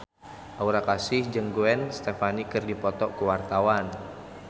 Aura Kasih jeung Gwen Stefani keur dipoto ku wartawan